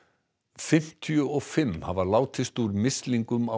fimmtíu og fimm hafa látist úr mislingum á